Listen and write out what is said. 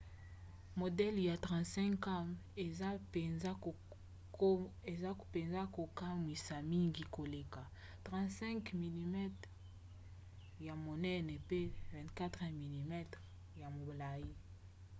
modele ya 35 cam eza mpenza kokamwisa mingi koleka 36 mm ya monene mpe 24 mm ya molai